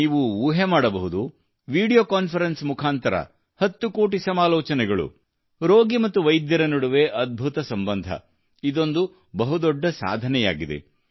ನೀವು ಊಹೆ ಮಾಡಬಹುದು ವಿಡಿಯೋ ಕಾನ್ಫರೆನ್ಸ್ ಮುಖಾಂತರ 10 ಕೋಟಿ ಸಮಾಲೋಚನೆಗಳು ರೋಗಿ ಮತ್ತು ವೈದ್ಯರ ನಡುವೆ ಅದ್ಭುತ ಸಂಬಂಧ ಇದೊಂದು ಬಹುದೊಡ್ಡ ಸಾಧನೆಯಾಗಿದೆ